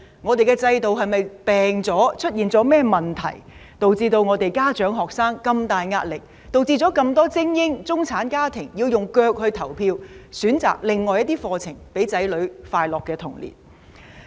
我們的制度是否"病"了，出現了甚麼問題，導致家長及學生有這麼大壓力，導致這麼多精英、中產家庭要用腳來投票，選擇另外一些課程，讓子女有快樂的童年？